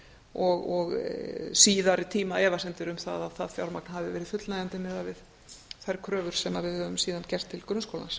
og síðari tíma efasemdir um að það fjármagn hafi verið fullnægjandi miðað við þær kröfur sem við höfum síðan gert til grunnskólans